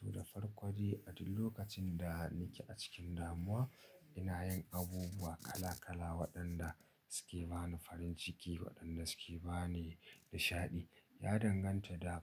To, da farko dai a duk lokacin da nake a cikin damuwa ina yin abubuwa kala kala waɗanda suke bani farin ciki waɗanda suke bani nishaɗi. Ya danganta da